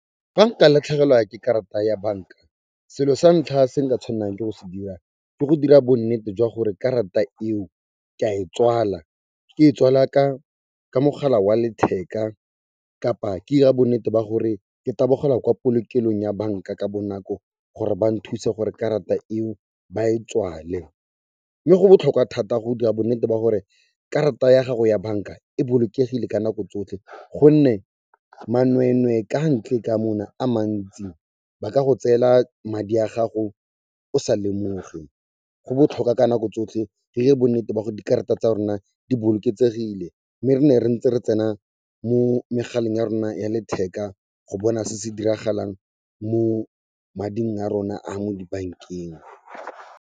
Fa nka latlhegelwa ke karata ya banka, selo sa ntlha se nka tshwannang ke go se dira ke go dira bonnete jwa gore karata eo ke a e tswala, ke e tswala ka mogala wa letheka kapa ke 'ira bonnete ba gore ke tabogela kwa polokelong ya banka ka bonako gore ba nthuse gore karata eo ba e tswale. Mme go botlhokwa thata go dira bonnete ba gore karata ya gago ya banka e bolokegile ka nako tsotlhe gonne manwee-nwee ka ntle ka mona, a mantsi ba ka go tseela madi a gago o sa lemoge. Go botlhokwa ka nako tsotlhe re 'ire bonnete ba go dikarata tsa rona di boloketsegile, mme re ne re ntse re tsena mo megaleng ya rona ya letheka go bona se se diragalang mo mading a rona a mo dibankeng.